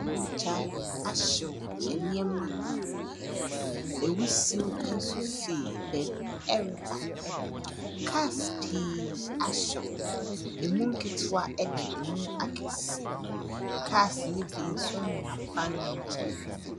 Ogya ahyew nneɛma bebree. Ewusie nso fii beebi ɛreba. Kaas pii ahyew, emu nketoa ɛne emu akɛseɛ. Kaas ne bi so nenam kwan ne nkyɛn.